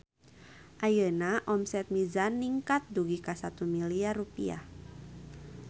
Ayeuna omset Mizan ningkat dugi ka 1 miliar rupiah